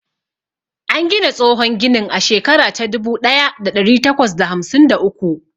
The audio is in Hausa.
An gina tsohon ginin a shekara ta dubu ɗaya da ɗari takwas da hamsin da uku.